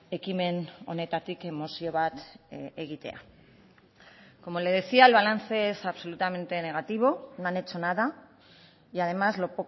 ekimen honetatik mozio bat egitea como le decía el balance es absolutamente negativo no han hecho nada y además lo